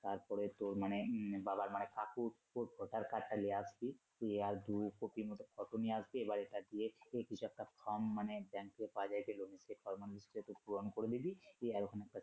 তারপরে তোর মানে উম বাবার মানে কাকুর Voter card টা নিয়ে আসবি তুই আর দু copy র মতো photo নিয়ে আসবি এবারে এটা দিয়ে তোকে কিছু একটা form মানে ব্যাংকের পূরন করে দিবি দিয়ে ওখানে একটা